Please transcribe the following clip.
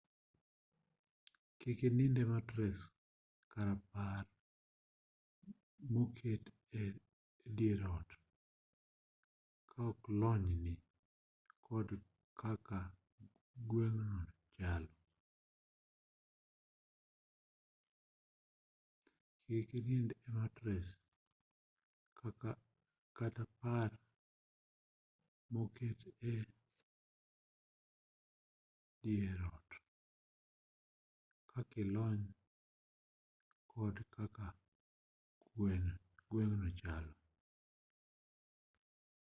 kik inind e matres kata par moket e dier ot kaokilony kod kaka gweng'no chalo